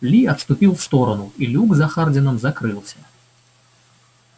ли отступил в сторону и люк за хардином закрылся